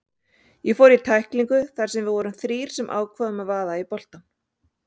Ég fór í tæklingu þar sem við vorum þrír sem ákváðum að vaða í boltann.